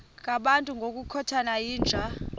ngabantu ngokukhothana yinja